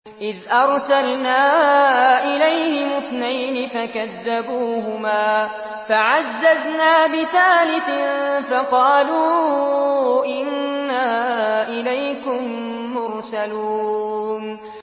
إِذْ أَرْسَلْنَا إِلَيْهِمُ اثْنَيْنِ فَكَذَّبُوهُمَا فَعَزَّزْنَا بِثَالِثٍ فَقَالُوا إِنَّا إِلَيْكُم مُّرْسَلُونَ